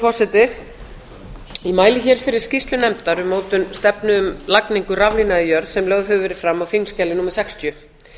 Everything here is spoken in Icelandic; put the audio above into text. forseti ég mæli fyrir skýrslu nefndar um mótun stefnu um lagningu raflína í jörð sem lögð hefur verið fram á þingskjali sextíu